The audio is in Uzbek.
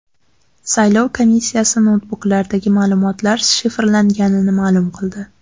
Saylov komissiyasi noutbuklardagi ma’lumotlar shifrlanganligini ma’lum qildi.